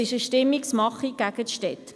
Es ist eine Stimmungsmache gegen die Städte.